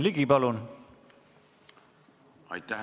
Aitäh!